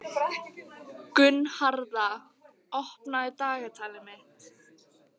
Gunnharða, opnaðu dagatalið mitt.